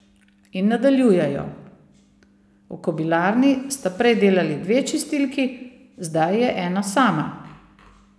In nadaljujejo: "V kobilarni sta prej delali dve čistilki, zdaj je ena sama.